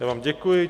Já dám děkuji.